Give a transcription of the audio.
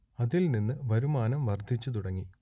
അതിൽ നിന്ന് വരുമാനം വർദ്ധിച്ചു തുടങ്ങി